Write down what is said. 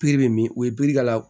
bɛ min o ye k'a la